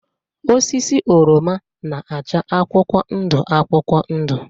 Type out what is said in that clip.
Osisi oroma na-acha akwụkwọ ndụ akwụkwọ ndụ